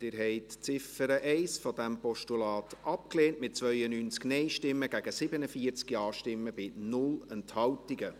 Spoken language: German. Sie haben die Ziffer 1 dieses Postulats abgelehnt, mit 92 Nein-Stimmen gegen 47 JaStimmen bei 0 Enthaltungen.